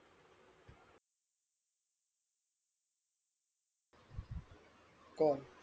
कोण